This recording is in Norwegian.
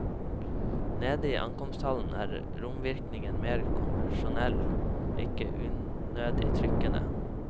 Nede i ankomsthallen er romvirkningen mer konvensjonell, om ikke unødig trykkende.